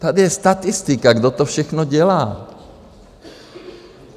Tady je statistika, kdo to všechno dělá.